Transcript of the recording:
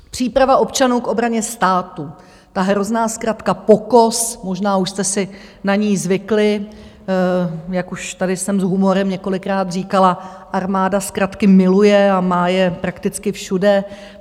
Příprava občanů k obraně státu - ta hrozná zkratka POKOS, možná už jste si na ni zvykli, jak už tady jsem s humorem několikrát říkala, armáda zkratky miluje a má je prakticky všude.